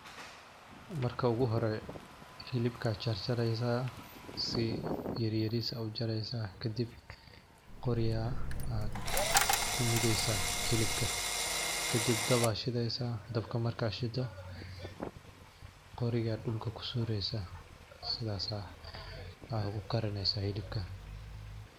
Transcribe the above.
Marka ugu hore hilibka charchareysaah, si yaryaris a uchareysaah, kadib qori a ad kumudeysaah hilibka , kadib dab aa shideysaah, dabka marka shido qoriga dulka kusureysaah, sidas aa kukarineysaah hilibka.